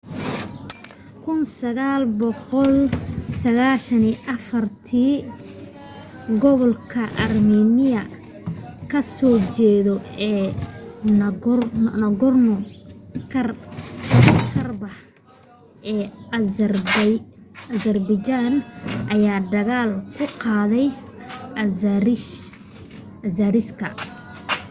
1994 kii gobolka armiiniya ka soo jeeda ee nagorno-karbakh ee azerbaijan ayaa dagaal ku qaaday azeriska